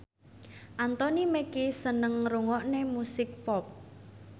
Anthony Mackie seneng ngrungokne musik pop